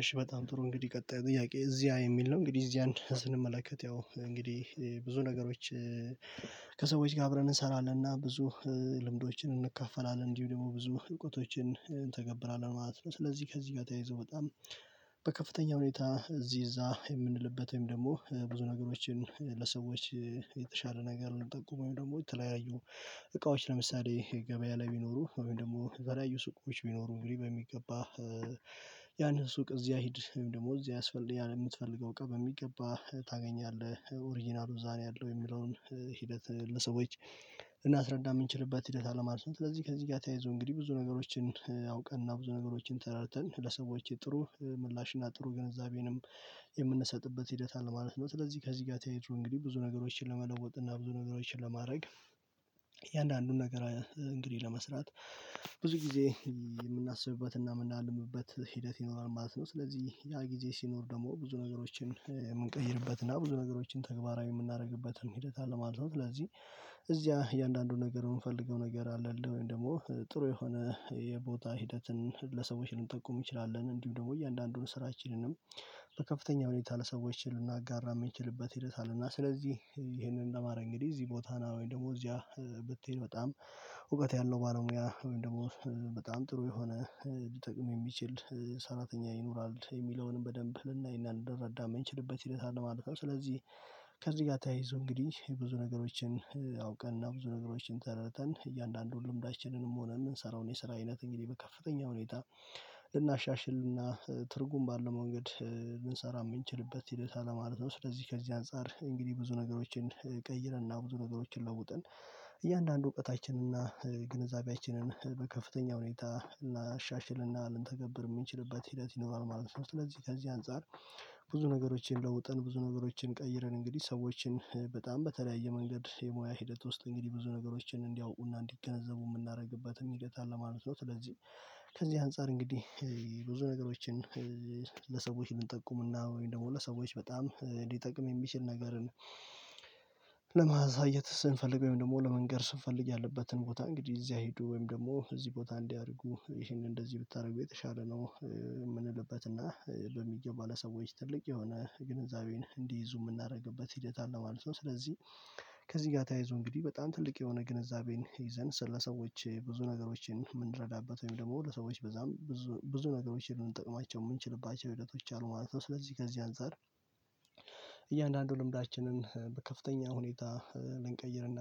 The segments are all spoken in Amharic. እሺ በጣም ጥሩ እንግዲህ ቀጣይ ጥያቄ እዚያ የሚል ነው። እንግዲህ እዚያን ስንመለከት ያው እንግዲህ ብዙ ነገሮች ከሰዎች ጋር አብረን እንሰራለንና። ብዙ ልምዶችን እንካፈላለን እንዲሁ ደግሞ ብዙ እውቀቶችን እንተገብራለን ማፕለት ነው። ስለዚህ ከዚህ ጋር ተያይዞ በጣም በከፍተኛ ሁኔታ እዚህ እዛ የምንልበት ወይም ደግሞ ብዙ ነገሮችን ለሰዎች የተሻለ ነገር የምጠቁመው። ወይም ደግሞ የተለያዩ እቃዎች ለምሳሌ ገበያ ላይ ቢኖሩ ወይም ደግሞ የተለያዩ ሱቆች ቢኖሩ እንግዲህ በሚገባ ያንን ሱቅ እዚያ ሂድ ደግሞ እዚያ ያስፈልጋል የምትፈልገው እቃ በሚገባ ታገኛለህ ኦሪጅናሉ እዛ ነው። ያለው የሚለውን ሂደት ለሰዎች ልናስረዳ የምንችልበት ሂደት አለ ማለት ነው። ስለዚህ ከዚህ ጋር ተያይዞ እንግዲህ ብዙ ነገሮችን አውቀን ብዙ ነገሮችን ተረድተን ለሰዎች ጥሩ ምላሽና ጥሩ ገንዘቤንም የምንሰጥበት ሂደት አለ ማለት ነው። ስለዚህ ከዚህ ጋር ተያይዞ እንግዲህ ብዙ ነገሮችን ለመለወጥ እና ብዙ ነገሮችን ለማድረግ እያንዳንዱን ነገር እንግዲህ ለመስራት ብዙ ጊዜ የምናስብበትና የምናልምበት ሂደት ይኖራል ማለት ነው። ስለዚህ ያ ጊዜ ሲኖር ደግሞ ብዙ ነገሮችን የምንቀይርበትና ብዙ ነገሮችን ተግባራዊ የምናደርግበት ሂደት አለ ማለት ነው። ስለዚህ እዚያ እያንዳንዱን ነገር የምፈልገው ነገር አለ ወይም ደግሞ ጥሩ የሆነ የቦታ ሂደትን ለሰዎች ልንጠቁም እንችላለን እንዲሁ ደግሞ እያንዳንዱን ስራችንንም በከፍተኛ ሁኔታ ለሰዎች ልናጋራ የምንችልበት ሂደት አለና። ስለዚህ ይሄንን ለማረግ እንግዲህ እዚህ ቦታ ና ወይም ደግሞ እዚያ ብትሄድ በጣም እውቀት ያለው ባለሙያ ወይም ደግሞ በጣም ጥሩ የሆነ ሊጠቅም የሚችል ሰራተኛ ይኖራል የሚለውንም በደንብ ልናይና ልንረዳ የምንችልበት ሂደት አለ ማለት ነው። ስለዚህ ከዚህ ጋር ተያይዞ እንግዲህ የብዙ ነገሮችን አውቀን እና ብዙ ነገሮችን ተረድተን እያንዳንዱ ልምዳችንንም ሆነ የምንሰራውን የስራ አይነት እንግዲህ በከፍተኛ ሁኔታ እናሻሽልና ትርጉም ባለው መንገድ ልንሰራ የምንችልበት ሂደት አለ ማለት ነው። ስለዚህ ከዚህ አንፃር እንግዲህ ብዙ ነገሮችን ቀይረን እና ብዙ ነገሮችን ለውጥን እያንዳንዱ እውቀታችን እና ግንዛቤያችንን በከፍተኛ ሁኔታ እናሻሽልና ልንተገብር የምንችልበት ሂደት ይኖራል ማለት ነው። ስለዚህ ከዚህ አንፃር ብዙ ነገሮችን ለውጠን ብዙ ነገሮችን ቀይረን እንግዲህ ሰዎችን በጣም በተለያየ መንገድ የሙያ ሂደት ውስጥ እንግዲህ ብዙ ነገሮችን እንዲያውቁና እንዲገነዘቡ የምናደርግበትም ሂደት አለ ማለት ነው። ስለዚህ ከዚህ አንፃር እንግዲህ ብዙ ነገሮችን ለሰዎች እንጠቁምና ወይም ደግሞ ለሰዎች በጣም ሊጠቅም የሚችል ነገርን ለማሳየት ስንፈልግ ወይም ደግሞ ለመንገር ስንፈልግ ያለበትን ቦታ እንግዲህ እዚያ ሂዱ ወይም ደግሞ እዚህ ቦታ እንዲ አድርጉ ይሄንን እንደዚህ ብታደርጉ የተሻለ ነው። የምንልበትና በሚገባ ለሰዎች ትልቅ የሆነ ግንዛቤን እንዲይዙ የምናደርግበት ሂደት አለ ማለት ነው። ስለዚህ ከዚህ ጋር ተያይዞ እንግዲህ በጣም ትልቅ የሆነ ግንዛቤን ይዘን ስለ ሰዎች ብዙ ነገሮችን የምንረዳበት ወይም ደግሞ ለሰዎች በጣም ብዙ ብዙ ነገሮችን ልንጠቅማቸው የምንችልባቸው ሂደቶች አሉ ማለት ነው። ስለዚህ ከዚህ አንፃር እያንዳንዱ ልምዳችንን በከፍተኛ ሁኔታ ልንቀይርና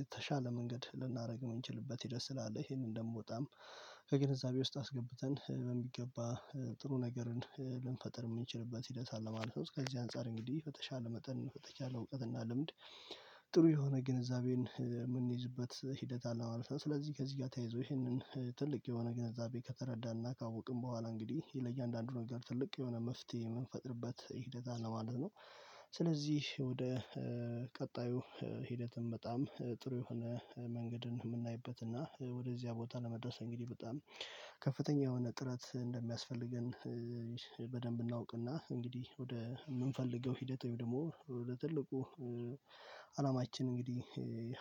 የተሻለ መንገድ ልናደርግ የምንችልበት ሂደት ስላለ ይሄንን ደግሞ በጣም ከግንዛቤ ውስጥ አስገብተን በሚገባ ጥሩ ነገርን ልንፈጥር የምንችልበት ሂደት አለ ማለት ነው። እስከዚህ አንፃር እንግዲህ በተሻለ መጠን በተሻቻለ እውቀት እና ልምድ ጥሩ የሆነ ግንዛቤን የምንይዝበት ሂደት አለው ማለት ነው። ስለዚህ ከዚህ ጋር ተያይዞ ይህንን ትልቅ የሆነ ግንዛቤ ከተረዳንና ካወቅን በኋላ እንግዲህ ለእያንዳንዱ ነገር ትልቅ የሆነ መፍትሄ የምንፈጥርበት ሂደት አለ ማለት ነው። ስለዚህ ወደ ቀጣዩ ሂደትም በጣም ጥሩ የሆነ መንገድን የምናይበት እና ወደዚያ ቦታ ለመድረስ እንግዲህ በጣም ከፍተኛ የሆነ ጥረት እንደሚያስፈልገን በደንብ እናውቅና እንግዲህ ወደ ምንፈልገው ሂደት ወይም ደግሞ ወደ ትልቁ እንግዲህ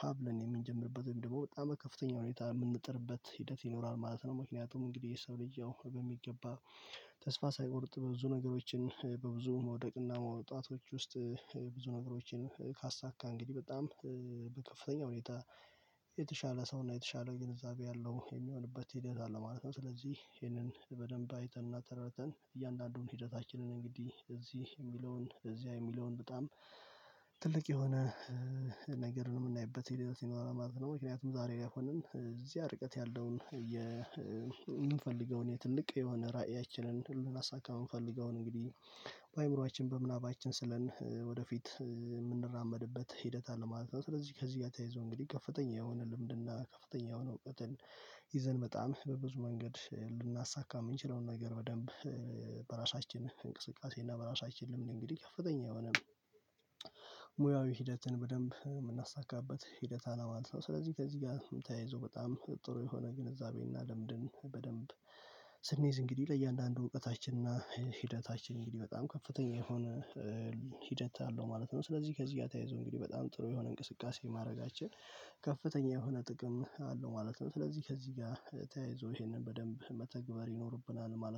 ሀብለን የምንጀምርበት ደግሞ በጣም በከፍተኛ ሁኔታ የምንጥርበት ሂደት ይኖራል ማለት ነው። ምክንያቱም እንግዲህ የሰው ልጅ በሚገባ ተስፋ ሳይቆርጥ በብዙ ነገሮች በብዙ መውደቅና መውጣቶች ውስጥ ብዙ ነገሮችን ካሳካ እንግዲህ በጣም በከፍተኛ ሁኔታ የተሻለ ሰው እና የተሻለ ግንዛቤ ያለው የሚሆንበት ሂደት አለ ማለት ነው። ስለዚህ ይሄንን በደንብ አይተን እና ተረድተን እያንዳንዱን ሂደታችንን እንግዲህ እዚህ የሚለውን እዚያ የሚለውን በጣም ትልቅ የሆነ ነገር ነው የምናይበት የሌላው ሲኖር ማለት ነው። ምክንያቱም ዛሬ ላይ ሆነን እዚያ ርቀት ያለውን የምንፈልገውን ትልቅ የሆነ ራእያችንን ልናሳካ የምንፈልገውን እንግዲህ በአእምሮአችን በምናባችን ስለን ወደፊት የምንራመድበት ሂደት አለ ማለት ነው። ስለዚህ ከዚህ ጋር ተያይዞ እንግዲህ ከፍተኛ የሆነ ልምድና ከፍተኛ የሆነ እውቀትን ይዘን በጣም በብዙ መንገድ ልናሳካ የምንችለውን ነገር በደንብ በራሳችን እንቅስቃሴ እና በራሳችን ልምድ እንግዲህ ከፍተኛ የሆነ ሙያዊ ሂደትን በደንብ የምናሳካበት ሂደት አለ ማለት ነው። ስለዚህ ከዚህ ጋር ተያይዞ በጣም ጥሩ የሆነ ግንዛቤ እና ልምድን በደንብ ስንይዝ እንግዲህ ለእያንዳንዱ እውቀታችን እና ሂደታችን እንግዲህ በጣም ከፍተኛ የሆነ ሂደት አለው ማለት ነው። ስለዚህ ከዚህ ጋር ተያይዞ እንግዲህ በጣም ጥሩ የሆነ እንቅስቃሴ ማድረጋችን ከፍተኛ የሆነ ጥቅም አለው ማለት ነው። ስለዚህ ከዚህ ጋር ተያይዞ ይሄንን በደንብ መተግበር ይኖርብናል ማለት